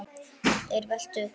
er velt upp.